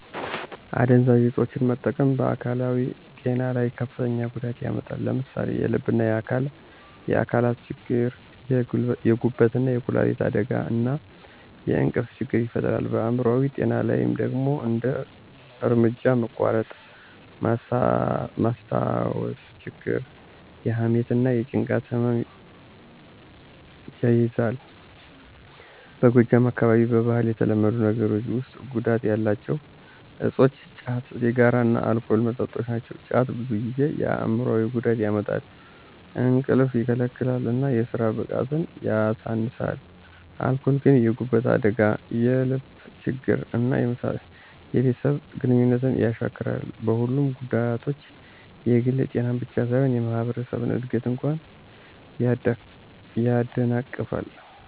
አደንዛዥ እፆችን መጠቀም በአካላዊ ጤና ላይ ከፍተኛ ጉዳት ያመጣል። ለምሳሌ የልብና የአካል አካላት ችግር፣ የጉበትና የኩላሊት አደጋ፣ እና የእንቅልፍ ችግር ይፈጥራል። በአይምሮአዊ ጤና ላይ ደግሞ እንደ እርምጃ መቋረጥ፣ ማስታወስ ችግር፣ የሐሜት እና የጭንቀት ህመም ይያዛል። በጎጃም አካባቢ በባህል የተለመዱ ነገሮች ውስጥ ጉዳት ያላቸው እፆች ጫት፣ ሲጋራ እና አልኮል መጠጦች ናቸው። ጫት ብዙ ጊዜ የአይምሮአዊ ጉዳት ያመጣል፣ እንቅልፍ ይከለክላል እና የስራ ብቃትን ያሳንሳል። አልኮል ግን የጉበት አደጋ፣ የልብ ችግር እና የቤተሰብ ግንኙነት ያሻክራል። በሁለቱም ጉዳቶች የግል ጤናን ብቻ ሳይሆን የማህበረሰብን እድገት እንኳ ያደናቅፋሉ።